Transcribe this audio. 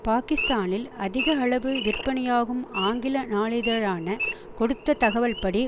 பாகிஸ்தானில் அதிக அளவு விற்பனையாகும் ஆங்கில நாளிதழான கொடுத்த தகவல்படி